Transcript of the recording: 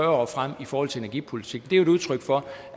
år frem i forhold til energipolitik det er jo udtryk for